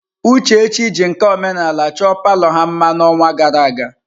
Uchechi jiri nka omenala chọọ palọ ha mma n'ọnwa gara aga.